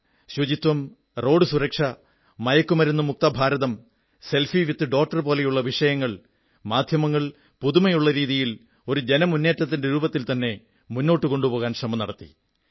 സ്വച്ഛത road സുരക്ഷ മയക്കുമരുന്നു മുക്ത ഭാരതം സെൽഫി വിത്ത് ഡോട്ടർ പോലുള്ള വിഷയങ്ങൾ മാധ്യമങ്ങൾ പുതുമയുള്ള രീതിയിൽ ഒരു ജനമുന്നേറ്റത്തിന്റെ രൂപത്തിൽത്തന്നെ മുന്നോട്ടു കൊണ്ടുപോകാൻ ശ്രമം നടത്തി